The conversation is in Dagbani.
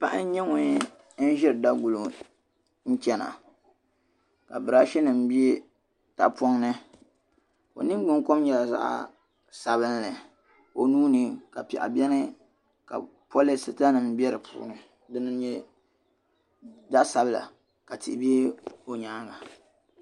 Paɣa n nyɛ ŋun ziri daguli ŋɔ n chana , ka brashi nim be tahi pɔŋni onin gbinkom nyala zaɣ' sabinli, ka onuuni ka pɛɣu beni ka polistanim be dipuuni. din nyɛ zaɣi sabila ka tihi be o nyaaŋa